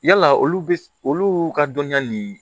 Yala olu bɛ olu ka dɔnniya nin